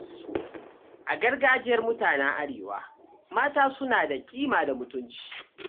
A gargajiyar mutanen Arewa, mata suna da kima da mutunci.